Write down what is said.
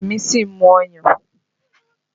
Ọmọ Remi sì ń mu ọyàn